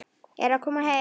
Er að koma barn?